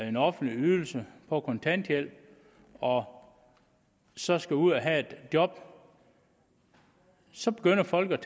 en offentlig ydelse på kontanthjælp og så skal ud og have et job så begynder folk